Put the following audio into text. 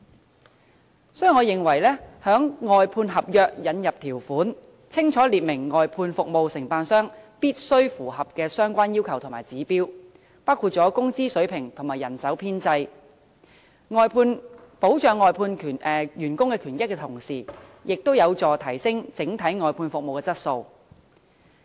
因此，我認為在外判合約中應加入條款，清楚列明外判服務承辦商必須符合的相關要求和指標，包括工資水平和人手編制，從而在保障外判員工權益的同時，亦有助提升整體外判服務的質素。